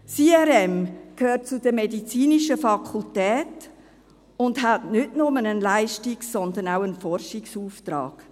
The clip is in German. Das IRM gehört zur medizinischen Fakultät und hat nicht nur einen Leistungs-, sondern auch einen Forschungsauftrag.